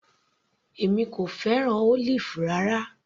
Èmi kò fẹ́ràn Olive rárá.